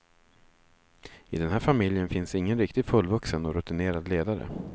I den här familjen finns ingen riktigt fullvuxen och rutinerad ledare.